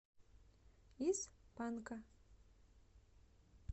из панка